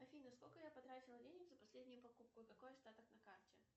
афина сколько я потратила денег за последнюю покупку и какой остаток на карте